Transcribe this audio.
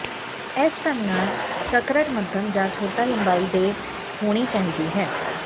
ਇਸ ਢੰਗ ਨਾਲ ਸਕਰਟ ਮੱਧਮ ਜਾਂ ਛੋਟਾ ਲੰਬਾਈ ਦੇ ਹੋਣੀ ਚਾਹੀਦੀ ਹੈ